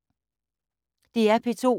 DR P2